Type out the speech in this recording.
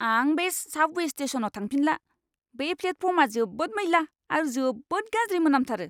आं बै साबवे स्टेशनआव थांफिनला। बे प्लेटफर्मआ जोबोद मैला आरो जोबोद गाज्रि मोनामथारो!